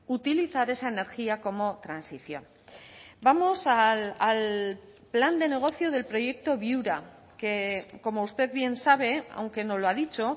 utilizar esa energía como transición vamos al plan de negocio del proyecto viura que como usted bien sabe aunque no lo ha dicho